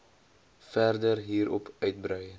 verder hierop uitbrei